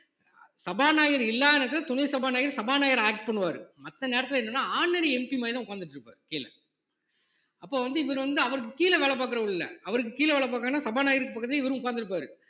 சபாநாயகர் இல்லாத நேரத்துல துணை சபாநாயகர் சபாநாயகரா act பண்ணுவாரு மத்த நேரத்துல என்னன்னா ordinary MP மாதிரிதான் உட்கார்ந்துட்டு இருப்பாரு கீழே அப்ப வந்து இவர் வந்து அவருக்கு கீழ வேலை பாக்குறவர் இல்ல அவருக்கு கீழ வேலை பாக்கணும்னா சபாநாயகருக்கு பக்கத்துலயே இவரும் உட்கார்ந்து இருப்பாரு